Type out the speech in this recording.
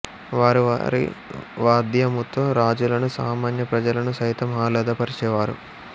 వారు వారి వాద్యముతో రాజులను సామన్య ప్రజలను సైతం ఆహ్లదపరిచేవారు